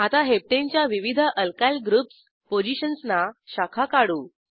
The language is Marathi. आता हेप्टने च्या विविध अल्कायल ग्रुप्स पोझिशन्सना शाखा काढू